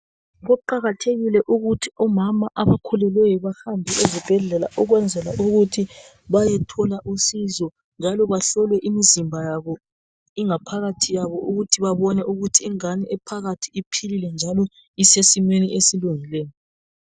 Kuqakathekile ukuthi omama abakhulileyo bahambe ezibhedlela ukwenzela ukuthi bayethola usizo njalo bahlole imizimba yabo ingaphakathi yabo ukuthi babone ukuthi ingane ephakathi iphilile njalo isesimeni esilungileyo.